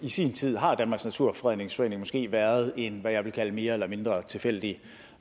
sin tid har danmarks naturfredningsforening måske været en hvad jeg vil kalde mere eller mindre tilfældig